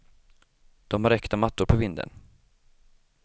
De har äkta mattor på vinden.